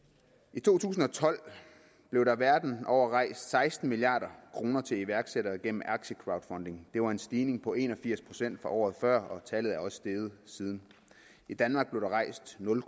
i to tusind og tolv blev der verden over rejst seksten milliard kroner til iværksættere gennem aktiecrowdfunding det var en stigning på en og firs procent fra året før og tallet er også steget siden i danmark blev der rejst nul